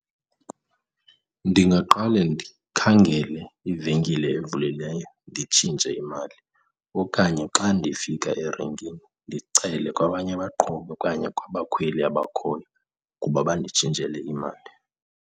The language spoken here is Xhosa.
Ndingaqale ndikhangele ivenkile evulileyo nditshintshe imali okanye xa ndifika erenkini ndicele kwabanye abaqhubi okanye kwabakhweli abakhoyo ukuba banditshintshele imali.